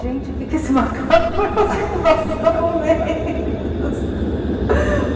o que esse macaco vai fazer com nossos documentos?